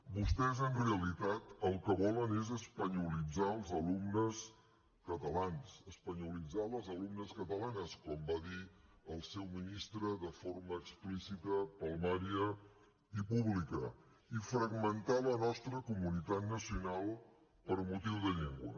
vostès en realitat el que volen és espanyolitzar els alumnes catalans espanyolitzar les alumnes catalanes com va dir el seu ministre de forma explícita palmària i pública i fragmentar la nostra comunitat nacional per motiu de llengua